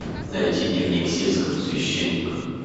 найти дневник сельского священника